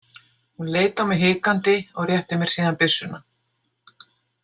Hún leit á mig hikandi og rétti mér síðan byssuna.